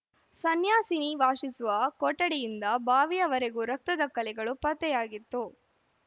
ಸನ್ಯಾಸಿನಿ ವಾಸಿಸುವ ಕೊಠಡಿಯಿಂದ ಬಾವಿಯವರೆಗೂ ರಕ್ತದ ಕಲೆಗಳು ಪತ್ತೆಯಾಗಿತ್ತು